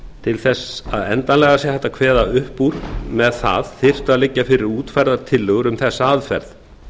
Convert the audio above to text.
til þess að endanlega sé hægt að kveða upp úr með það þyrftu að liggja fyrir útfærðar tillögur um þessa aðferð